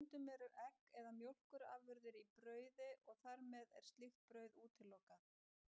Stundum eru egg eða mjólkurafurðir í brauði og þar með er slíkt brauð útilokað.